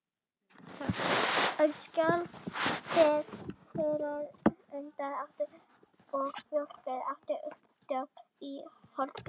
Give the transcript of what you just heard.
skjálftinn sautján hundrað áttatíu og fjögur átti upptök í holtum